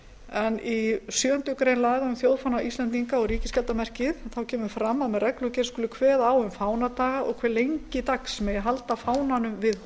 en í sjöundu grein laga um þjóðfána íslendinga og ríkisskjaldarmerkið kemur fram að með reglugerð skuli kveða á um fánadaga og hve lengi dags megi halda fánanum við